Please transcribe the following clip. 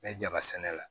N bɛ jaba sɛnɛ la